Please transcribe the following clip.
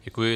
Děkuji.